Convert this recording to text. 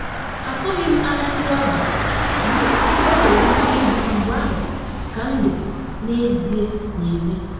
Atụghị m anya ndị ọbịa, mana o nwere ike ịbụ mgbe ahụ ka ndụ n'ezie na eme.